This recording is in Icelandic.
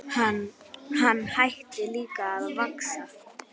Hann hætti líka að vaxa.